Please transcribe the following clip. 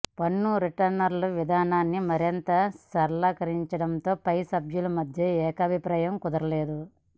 పన్ను రిటర్నుల విధానాన్ని మరింత సరళీకరించడంపై సభ్యుల మధ్య ఏకాభిప్రాయం కుదరలేదు